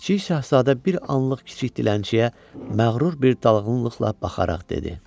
Kiçik şahzadə bir anlıq kiçik dilənçiyə məğrur bir dalğınlıqla baxaraq dedi: